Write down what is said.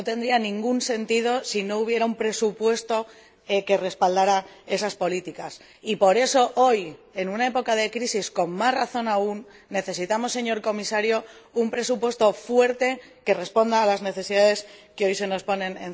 No tendrían ningún sentido si no hubiera un presupuesto que respaldara esas políticas. Y por eso hoy, en una época de crisis, con más razón aún, necesitamos, señor Comisario, un presupuesto fuerte que responda a las necesidades que hoy se nos presentan.